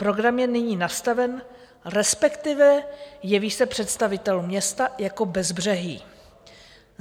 Program je nyní nastaven, respektive jeví se představitelům města jako bezbřehý.